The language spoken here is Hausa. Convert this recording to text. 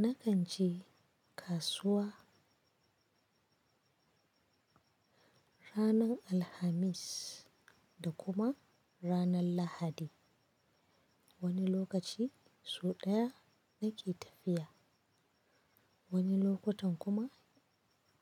Na kan je kasuwa ranar Alhamis da kuma ranar Lahadi. Wani lokaci sau ɗaya nake tafiya, wani lokutan kuma